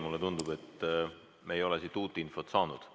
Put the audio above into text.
Mulle tundub, et me ei ole siit uut infot saanud.